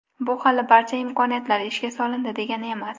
Bu hali barcha imkoniyatlar ishga solindi degani emas.